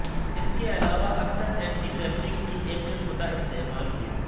اس کے علاوہ اکثر اینٹی سیپٹیکس کی ایک قسم کا استعمال کیا